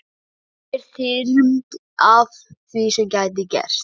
Yfirþyrmd af því sem gæti gerst.